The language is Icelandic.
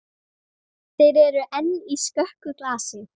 Þér eruð enn í skökku glasi.